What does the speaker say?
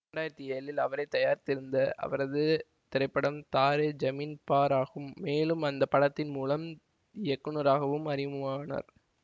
இரண்டு ஆயிரத்தி ஏழில் அவரே தயாரித்திருந்த அவரது திரைப்படம் தாரே ஜமீன் பர் ஆகும் மேலும் அந்த படத்தின் மூலம் இயக்குநராகவும் அறிமுகமானார்